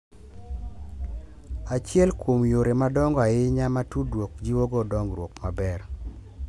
Achiel kuom yore madongo ahinya ma tudruok jiwogo dongruok maber